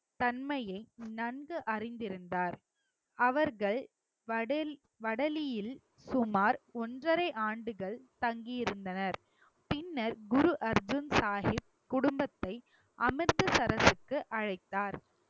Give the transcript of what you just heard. ஒன்றரை ஆண்டுகள் தங்கியிருந்தனர் பின்னர் குரு அர்ஜுன் ஷாஹிப் குடும்பத்தை அமிர்தசரசுக்கு அழைத்தார்.